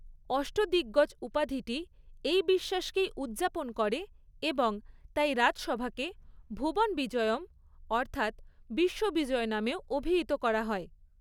অষ্টদিগ্গজ' উপাধিটি এই বিশ্বাসকেই উদযাপন করে এবং তাই রাজসভাকে ভুবন বিজয়ম অর্থাৎ বিশ্ববিজয় নামেও অভিহিত করা হয়।